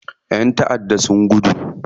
ƴan taʼaddan sun gudu.